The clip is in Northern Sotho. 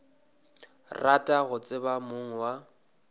rata go tseba mong wa